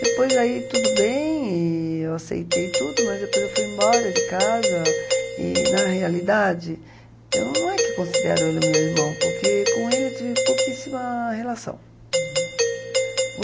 Depois aí tudo bem, e eu aceitei tudo, mas depois eu fui embora de casa e, na realidade, eu não é que considero ele meu irmão, porque com ele eu tive pouquíssima relação. Uhum.